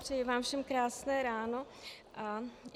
Přeji vám všem krásné ráno.